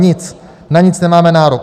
Nic, na nic nemáme nárok.